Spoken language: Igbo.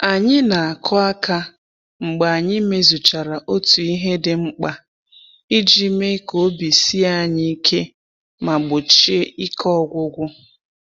Anyị na-akụ aka mgbe anyị mezuchara otu ihe dị mkpa iji mee ka obi sie anyị ike ma gbochie ike ọgwụgwụ.